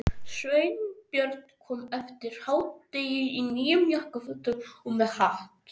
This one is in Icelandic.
Sveinbjörn kom eftir hádegi í nýjum jakkafötum og með hatt.